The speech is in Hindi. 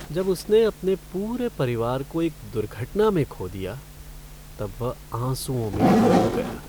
जब उसने अपने पूरे परिवार को एक दुर्घटना में खो दिया तब वह आँसुओं में डूब गया।